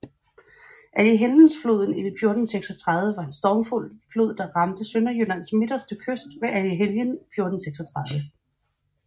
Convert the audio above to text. Allehelgensfloden i 1436 var en stormflod der ramte Sønderjyllands midterste kyst ved Allehelgen 1436